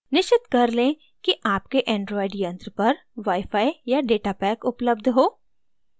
निश्चित कर लें कि आपके android यंत्र पर wi fi या data pack उपलब्ध हो